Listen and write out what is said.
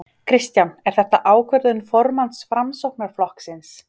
Kristján: Er þetta ákvörðun formanns Framsóknarflokksins?